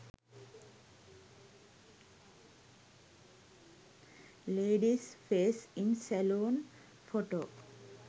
ladies face in saloon photo